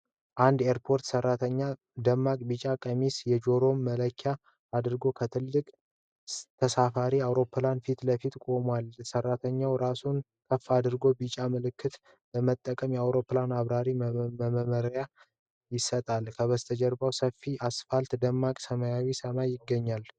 አንድ ኤርፖርት ሰራተኛ ደማቅ ቢጫ ቀሚስና የጆሮ መከላከያ አድርጎ ከአንድ ትልቅ ተሳፋሪ አውሮፕላን ፊት ለፊት ቆሟል። ሰራተኛው ራሱን ከፍ አድርጎ ቢጫ ምልክቶችን በመጠቀም ለአውሮፕላኑ አብራሪ መመሪያ ይሰጣል። ከበስተጀርባው ሰፊው አስፋልትና ደማቅ ሰማያዊ ሰማይ ይገኛሉ።